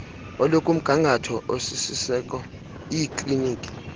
olukumgangatho osisiseko iikliniki